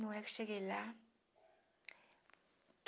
Na hora que cheguei lá.